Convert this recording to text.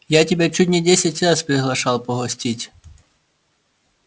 я тебя чуть не десять раз приглашал погостить